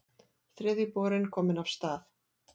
Þriðji borinn kominn af stað